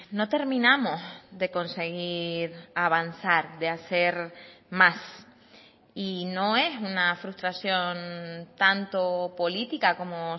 no terminamos de conseguir avanzar de hacer más y no es una frustración tanto política como